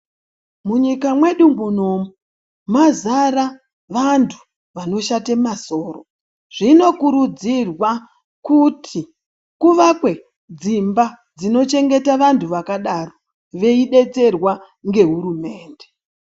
Munyika mwedu munomu mwazara vanthu vanoshata masoro zvinokurudzirwa kuti kuvakwe dzimba dzinochengeta vanthu vakadaro veidetserwa ngeHurumende.